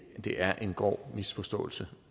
er en grov misforståelse